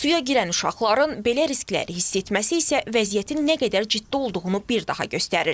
Suya girən uşaqların belə riskləri hiss etməsi isə vəziyyətin nə qədər ciddi olduğunu bir daha göstərir.